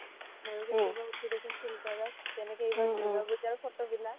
মইও কেতিয়াবা উঠো দে চোন filter ত যেনেকে এইবাৰ দুৰ্গা পূজা ৰ photo বিলাক